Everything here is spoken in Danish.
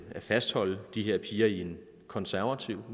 fastholde de her piger i en konservativ og